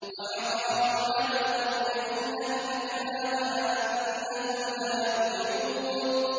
وَحَرَامٌ عَلَىٰ قَرْيَةٍ أَهْلَكْنَاهَا أَنَّهُمْ لَا يَرْجِعُونَ